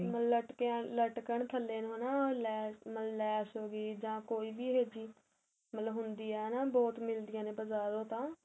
ਲੱਟਕੰਨ ਥੱਲੇ ਨੂੰ ਐਨਾ ਲੈਸ਼ ਲੈਸ਼ ਹੋਗੀ ਜਾਂ ਕੋਈ ਵੀ ਇਹ ਮਤਲਬ ਹੁੰਦੀ ਏ ਹੈਣਾ ਬਹੁਤ ਮਿੱਲਦੀਆ ਨੇ ਬਜਾਰੋ ਤਾ